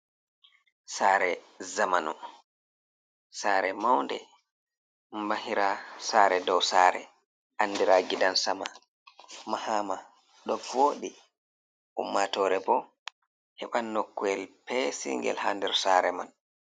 Sare zamanu. sare maunɗe, mahira sare dow sare anɗira giɗansama. mahama ɗo vooɗ.i ummatore bo heban noko’el pesingel ha nder sare man.